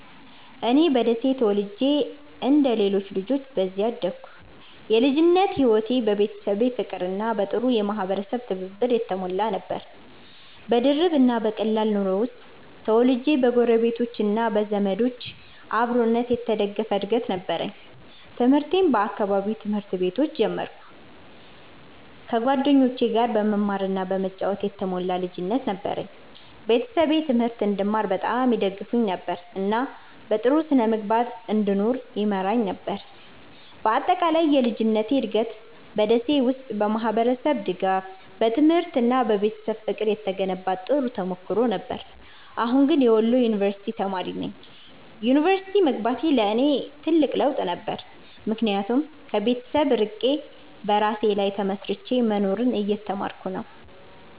እኔ በደሴ ተወልጄ እንደ ሌሎች ልጆች በዚያ አደግኩ። የልጅነቴ ሕይወት በቤተሰብ ፍቅርና በጥሩ የማህበረሰብ ትብብር የተሞላ ነበር። በድርብ እና በቀላል ኑሮ ውስጥ ተወልጄ በጎረቤቶች እና በዘመዶች አብሮነት የተደገፈ እድገት ነበረኝ። ትምህርቴን በአካባቢው ትምህርት ቤቶች ጀመርኩ፣ ከጓደኞቼ ጋር በመማር እና በመጫወት የተሞላ ልጅነት ነበረኝ። ቤተሰቤ ትምህርት እንድማር በጣም ይደግፉኝ ነበር፣ እና በጥሩ ስነ-ምግባር እንድኖር ይመራኝ ነበር። በአጠቃላይ የልጅነቴ እድገት በ ደሴ ውስጥ በማህበረሰብ ድጋፍ፣ በትምህርት እና በቤተሰብ ፍቅር የተገነባ ጥሩ ተሞክሮ ነበር። አሁን ግን የወሎ ዩንቨርስቲ ተማሪ ነኝ። ዩኒቨርሲቲ መግባቴ ለእኔ ትልቅ ለውጥ ነበር፣ ምክንያቱም ከቤተሰብ ርቄ በራሴ ላይ ተመስርቼ መኖርን እየተማርኩ ነው።